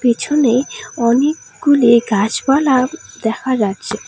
পিছনে অনেকগুলি গাছপালা দেখা যাচ্ছে।